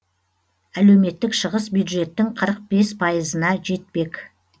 әлеуметтік шығыс бюджеттің қырық бес пайызына жетпек